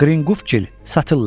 Qrinqufikil satırlar.